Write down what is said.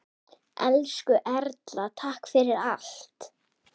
Elsku Erla, takk fyrir allt.